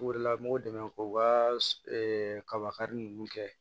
O de la mɔgɔw dɛmɛ k'u ka kaba kari ninnu kɛ